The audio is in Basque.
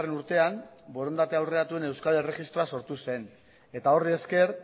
urtean borondate aurreratuen euskal erregistroa sortu zen eta horri esker